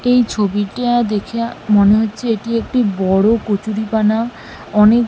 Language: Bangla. এই ছবিটা দেইখা মনে হচ্ছে এটি একটি বড় কচুরিপানা অনেক--